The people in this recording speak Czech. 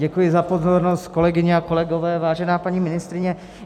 Děkuji za pozornost, kolegyně a kolegové, vážená paní ministryně.